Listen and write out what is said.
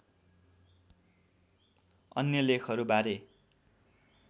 अन्य लेखहरू बारे